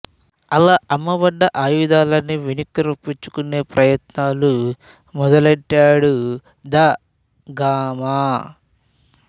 అలా అమ్మబడ్డ ఆయుధాలన్నీ వెనక్కు రప్పించుకునే ప్రయత్నాలు మొదలెట్టాడు ద గామా